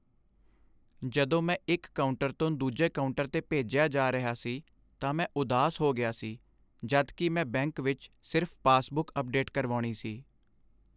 ਜਦੋਂ ਮੈਨੂੰ ਇੱਕ ਕਾਊਂਟਰ ਤੋਂ ਦੂਜੇ ਕਾਊਂਟਰ 'ਤੇ ਭੇਜਿਆ ਜਾ ਰਿਹਾ ਸੀ ਤਾਂ ਮੈਂ ਉਦਾਸ ਹੋ ਗਿਆ ਸੀ ਜਦ ਕਿ ਮੈਂ ਬੈਂਕ ਵਿੱਚ ਸਿਰਫ਼ ਪਾਸਬੁੱਕ ਅੱਪਡੇਟ ਕਰਵਾਉਣੀ ਸੀ।